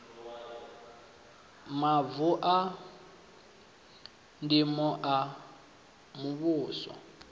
mavu a ndimo a muvhuso